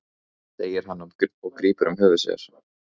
segir hann og grípur um höfuð sér.